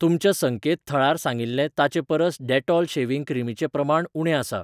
तुमच्या संकेतथळार सांगिल्लें ताचे परस डेटॉल शेव्हिंग क्रीमीचें प्रमाण उणें आसा.